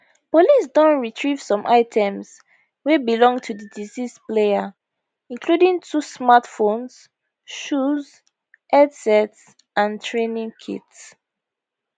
police don retrieve some items wey belong to di deceased player including two smart phones shoes headsets and training kit